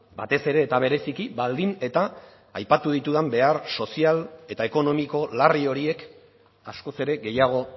batez ere eta bereziki baldin eta aipatu ditudan behar sozial eta ekonomiko larri horiek askoz ere gehiago